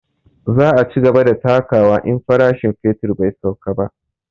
Za a cigaba da takawa in farashin fetur bai sauka ba